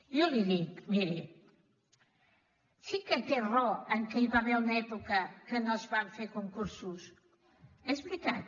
jo li dic miri sí que té raó que hi va haver una època que no es van fer concursos és veritat